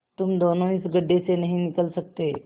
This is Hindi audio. तुम दोनों इस गढ्ढे से नहीं निकल सकते